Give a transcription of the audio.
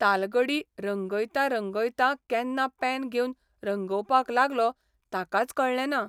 तालगडी रंगयतां रंगयतां केन्ना पेन घेवन रंगोवपाक लागलो ताकाच कळ्ळेंना.